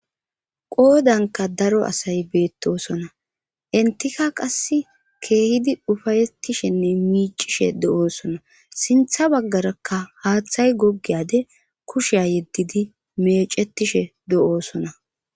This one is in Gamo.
qoodanka daro asay beettosona enytika qase keehidii ufayettishenne miicishe de'oosona sinththa baggarakka haaththay gogiyade kushiya yeddidi mecetishe do'oosona